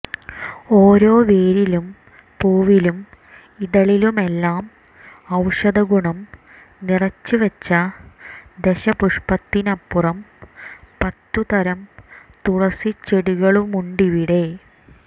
ഓരോ വേരിലും പൂവിലും ഇതളിലുമെല്ലാം ഒൌഷധഗുണം നിറച്ചുവച്ച ദശപുഷ്പത്തിനപ്പുറം പത്തു തരം തുളസിച്ചെ ടികളുമുണ്ടിവിടെ